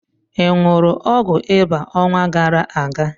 I ṅụrụ ọgwụ ịba ọnwa gara aga?